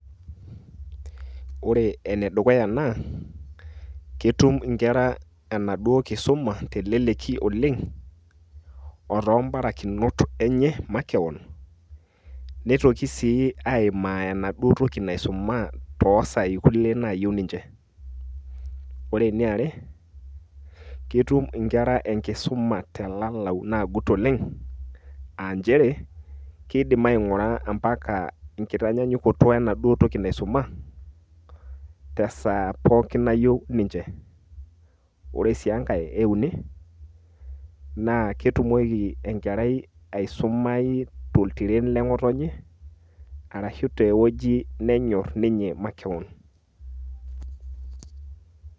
Ore ene dukuya naa ketum inkerra enaduoo kisuma teleleki oleng otoo mbarakinot enye makewon neitoki sii aimaa enaduoo toki naisuma too saai kulie naayieu ninche . ore eniaare ketum inkerra enkisuma telalau nagut oleng aa nchere keidim aingura mpaka ekitanyanyukoto enaduoo toki naisuma tesaa pooki nayieu ninche. ore sii enkae euni naa ketumoki enkerai aisumau toltiren lengotonye arashu te wueji nenyor ninye makewon